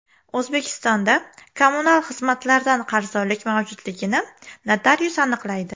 O‘zbekistonda kommunal xizmatlardan qarzdorlik mavjudligini notarius aniqlaydi.